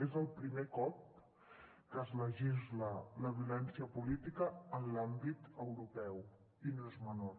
és el primer cop que es legisla la violència política en l’àmbit europeu i no és menor